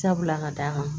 Sabula ka d'a kan